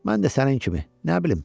Mən də sənin kimi, nə bilim.